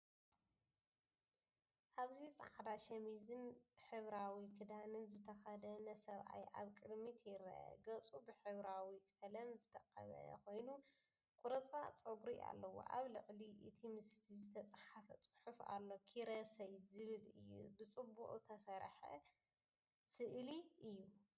ኣብዚ ጻዕዳ ሸሚዝን ሕብራዊ ክዳንን ዝተኸድነ ሰብኣይ ኣብ ቅድሚት ይርአ። ገጹ ብሕብራዊ ቀለም ዝተቐብአ ኮይኑ ቁርጽራጽ ጸጉሪ ኣለዎ። ኣብ ልዕሊ እቲ ምስሊ ዝተጻሕፈ ጽሑፍ ኣሎ፣"ኪሮሰይ" ዝብል እዩ። ብጽቡቕ ዝተሰርሐ ስእሊ እዩ።